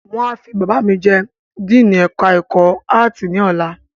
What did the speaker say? Wọ́n a fi Bàbá mi jẹ Díìnì ẹ̀ka ẹ̀kọ́ áàtì ní ọ̀la